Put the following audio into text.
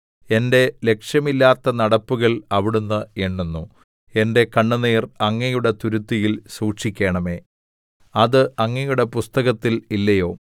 എന്റെ ലക്ഷ്യമില്ലാത്ത നടപ്പുകൾ അവിടുന്ന് എണ്ണുന്നു എന്റെ കണ്ണുനീർ അങ്ങയുടെ തുരുത്തിയിൽ സൂക്ഷിക്കണമേ അത് അങ്ങയുടെ പുസ്തകത്തിൽ ഇല്ലയോ